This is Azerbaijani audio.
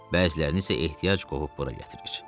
Bəzilərini isə ehtiyac qovub bura gətirir.